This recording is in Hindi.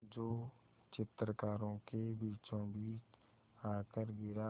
जो चित्रकारों के बीचोंबीच आकर गिरा